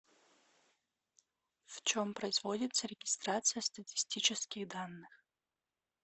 в чем производится регистрация статистических данных